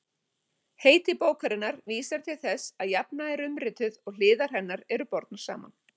Heiti bókarinnar vísar til þess að jafna er umrituð og hliðar hennar eru bornar saman.